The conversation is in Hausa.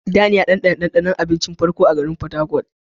Dan ya ɗanɗana ɗanɗanon abinci na farko a garin Fatakwal.